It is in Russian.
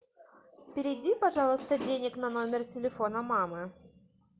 переведи пожалуйста денег на номер телефона мамы